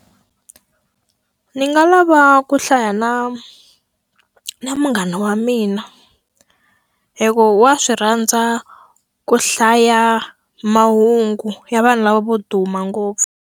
Ndzi nga lava ku hlaya na na munghana wa mina. Hikuva wa swi rhandza ku hlaya mahungu ya vanhu lava vo duma ngopfu.